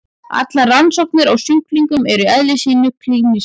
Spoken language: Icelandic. Allar rannsóknir á sjúklingum eru í eðli sínu klínískar.